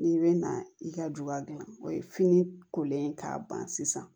N'i bɛ na i ka du ka gilan o ye fini kolen k'a ban sisan